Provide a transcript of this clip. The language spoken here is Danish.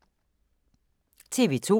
TV 2